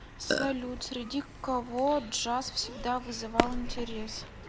салют среди кого джаз всегда вызывал интерес